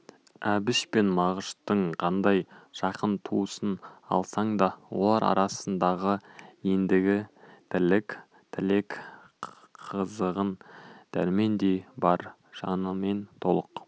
әбіш пен мағыштың қандай жақын туысын алсаң да олар арасындағы ендігі тірлік тілек қызығын дәрмендей бар жанымен толық